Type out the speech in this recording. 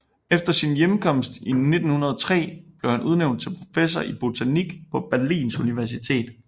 Efter sin hjemkomst i 1903 blev han udnævnt til professor i botanik på Berlins Universitet